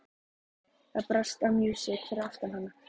Það brast á músík fyrir aftan hana.